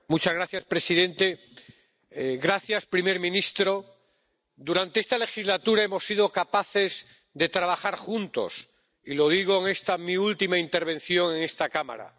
Señor presidente, señor primer ministro, durante esta legislatura hemos sido capaces de trabajar juntos, y lo digo en esta mi última intervención en esta Cámara.